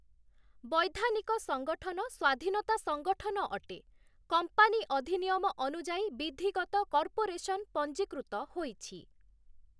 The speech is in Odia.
ବୈଧାନିକ ସଂଗଠନ ସ୍ୱାଧୀନତା ସଂଗଠନ ଅଟେ । କମ୍ପାନୀ ଅଧିନିୟମ ଅନୁଯାୟୀ ବିଧିଗତ କର୍ପୋରେସନ୍ ପଞ୍ଜିକୃତ ହୋଇଛି ।